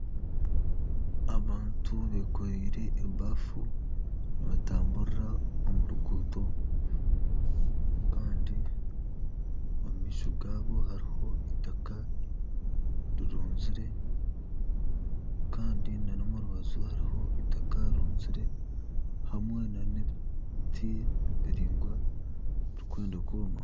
Abantu bekoreire ebafu nibatamburira omu ruguuto Kandi g'aabo hariho eitaka rirunzire Kandi n'omu rubaju hariho eitaka rirunzire hamwe nana ebiti biraingwa bikwenda kwoma